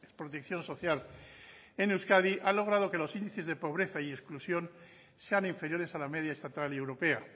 protección social en euskadi ha logrado que los índices de pobreza y exclusión sean inferiores a la media estatal y europea